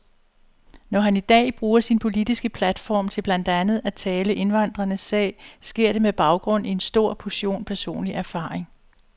Når han i dag bruger sin politiske platform til blandt andet at tale indvandrernes sag, sker det med baggrund i en stor portion personlig erfaring.